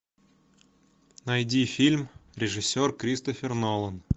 найди фильм режиссер кристофер нолан